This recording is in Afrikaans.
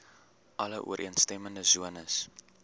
alle ooreenstemmende sones